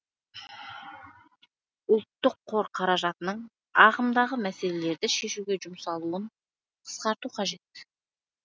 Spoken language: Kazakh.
ұлттық қор қаражатының ағымдағы мәселелерді шешуге жұмсалуын қысқарту қажет